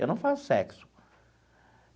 Eu não faço sexo.